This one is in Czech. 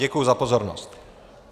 Děkuji za pozornost.